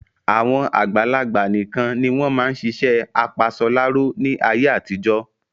Àwọn àgbàlagbà nikan ni wọn máa ń ṣiṣẹ́ apasọláró ni àyè àtijọ́